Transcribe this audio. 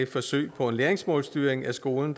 forsøg på en læringsmålsstyring af skolen